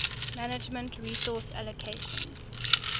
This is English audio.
manage resource allocations